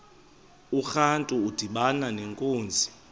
urantu udibana nenkunzi